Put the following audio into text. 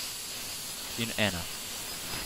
In ena.